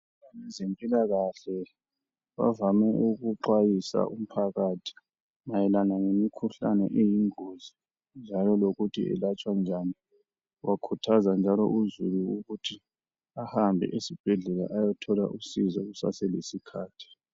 Abezempilakahle bavame ukuxwayisa umphakathi mayelana lemkhuhlane eyingozi njalo lokuthi iyelatshwa njani ,bakhuthaza njalo uzulu ukuthi ahambe esibhedlela ayothola usizo kusaselesikhathi.